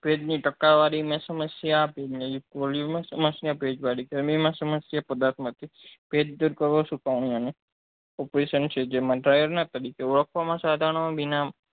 ભેજ ની ટકાવારી ની સમસ્યા ભેજ ની ની સમસ્યા ભેજ વાળી માં સમસ્યા પદાર્થ માંથી ભેજ દુર કરવો અને જેમાં dryer ના તરીકે ઓળખવા માં સાધનો